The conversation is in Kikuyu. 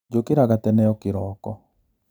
Njũkĩraga tene o kĩroko.